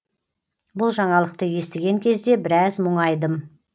бұл жаңалықты естіген кезде біраз мұңайдым